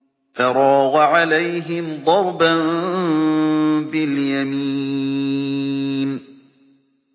فَرَاغَ عَلَيْهِمْ ضَرْبًا بِالْيَمِينِ